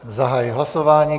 Zahajuji hlasování.